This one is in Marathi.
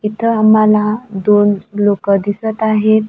इथं आम्हाला दोन लोकं दिसत आहेत.